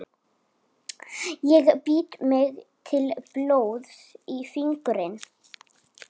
breitt vestanvert við tún Andrésar Bjarnasonar söðlasmiðs við Laugaveg.